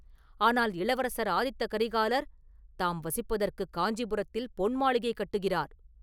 ஆனால் இளவரசர் ஆதித்த கரிகாலர் தாம் வசிப்பதற்குக் காஞ்சிபுரத்தில் பொன் மாளிகை கட்டுகிறார்!